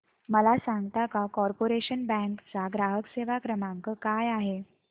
मला सांगता का कॉर्पोरेशन बँक चा ग्राहक सेवा क्रमांक काय आहे